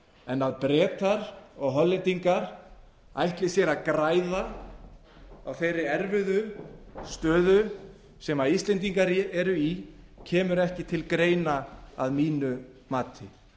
en að bretar og hollendingar ætli sér að græða á þeirri erfiðu stöðu sem íslendingar eru í kemur ekki til greina að mínu mati